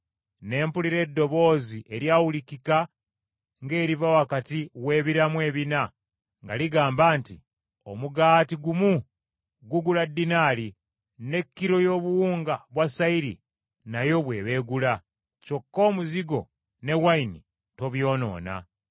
Ne mpulira eddoboozi eryawulikika ng’eriva wakati w’ebiramu ebina nga ligamba nti, “Omugaati gumu gugula ddinaali, ne kilo y’obuwunga bwa sayiri nayo bw’eba egula, kyokka omuzigo n’envinnyo tobyonoona.”